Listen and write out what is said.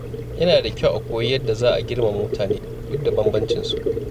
Yana da kyau a koyi yadda za a girmama mutane duk da bambancin su.